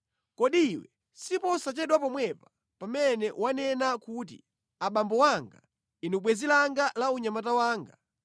Kodi iwe siposachedwa pomwepa pamene wanena kuti, ‘Abambo anga, Inu bwenzi langa la unyamata wanga,